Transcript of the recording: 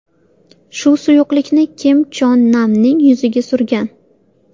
Shu suyuqlikni u Kim Chon Namning yuziga surgan.